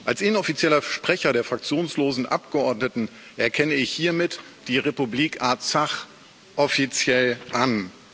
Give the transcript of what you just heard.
Als inoffizieller Sprecher der fraktionslosen Abgeordneten erkenne ich hiermit die Republik Arzach offiziell an.